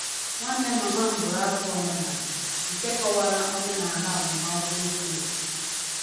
Nwanne mama m bụrụ abụ omenala nke kọwara omenala agbamakwụkwọ ochie nke ọma